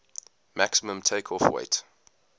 maximum takeoff weight